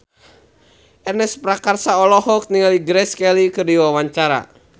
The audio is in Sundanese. Ernest Prakasa olohok ningali Grace Kelly keur diwawancara